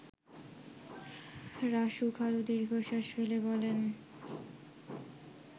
রাসু খালু দীর্ঘশ্বাস ফেলে বলেন